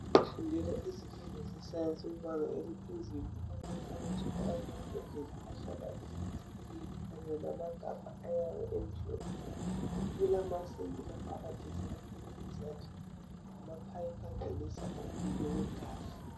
Kufundelwa izifundo zesayensi kubanga eliphezulu. Kulamakhabothi alamambodlela ahlala imithi Kanye lamagabha ayabe emhlophe. kulamasinki lapho abagezela khona izandla lamaphayiphi angenisa umlilo wegasi.